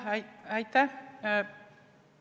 Aitäh!